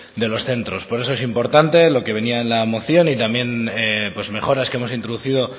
de los centros por eso es importante lo que venía en la moción y también mejoras que hemos introducido